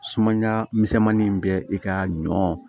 Sumaya misɛnmanin bɛ i ka ɲɔ